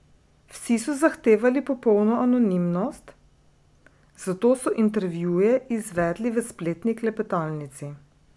Vsi so zahtevali popolno anonimnost, zato so intervjuje izvedli v spletni klepetalnici.